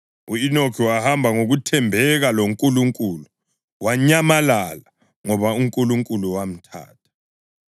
U-Enoki wahamba ngokuthembeka loNkulunkulu; wanyamalala, ngoba uNkulunkulu wamthatha.